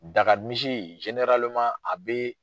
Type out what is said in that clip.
Dagamisi a bɛ